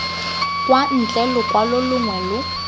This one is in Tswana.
kwa ntle lokwalo longwe lo